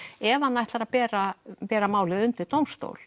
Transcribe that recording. ef hann ætlar að bera bera málið undir dómstól